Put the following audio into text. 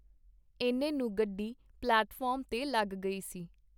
ਐਨੇ ਨੂੰ ਗੱਡੀ ਪਲੇਟਫਾਰਮ ਤੇ ਲੱਗ ਗਈ ਸੀ.